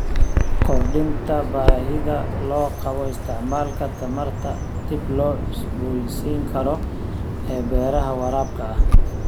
Kordhinta baahida loo qabo isticmaalka tamarta dib loo cusboonaysiin karo ee beeraha waraabka ah.